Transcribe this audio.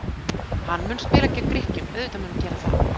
Hann mun spila gegn Grikkjum, auðvitað mun hann gera það.